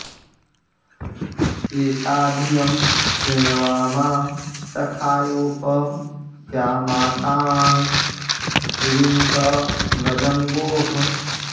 एता धियं कृणवामा सखायोऽप या माताँ ऋणुत व्रजं गोः